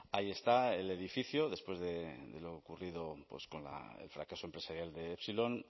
ahí está el edificio después de lo ocurrido con el fracaso empresarial de epsilon